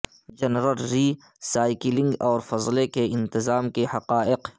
general recycling اور فضلے کے انتظام کے حقائق